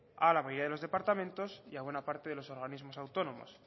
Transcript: a la mayoría de los departamentos y a buena parte de los organismos autónomos